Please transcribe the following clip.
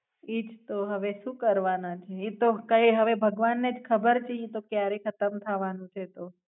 ઈ જ તો. હવે શું કરવાના એટલે. ઈ તો કઈ હવે ભગવાન ને જ ખબર છે ઈ તો ક્યારે ખતમ થવાનું છે એ તો.